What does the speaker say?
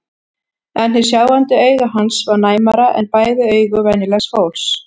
En hið sjáandi auga hans var næmara en bæði augu venjulegs fólks.